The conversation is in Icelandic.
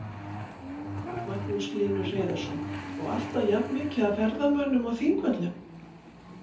Magnús Hlynur Hreiðarsson: Og alltaf jafnt mikið af ferðamönnum á Þingvöllum?